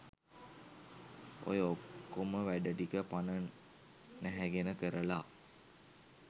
ඔය ඔක්කොම වැඩටික පණ නැහැගෙන කරලා